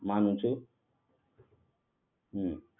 માનુ છું